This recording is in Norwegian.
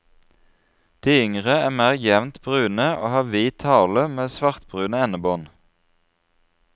De yngre er mer jevnt brune, og har hvit hale med svartbrune endebånd.